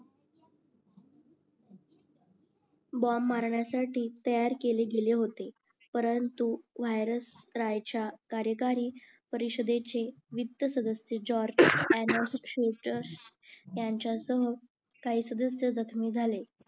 बोंब मारण्यासाठी तयार केले गेले होते परंतु व्हायरस राय च्या कार्यकारी परिषदेचे वित्त जॉर्ज यांच्यासह काही सदस्य जखमी झाले